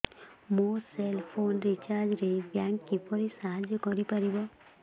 ମୋ cell phone recharge ରେ bank କିପରି ସାହାଯ୍ୟ କରିପାରିବ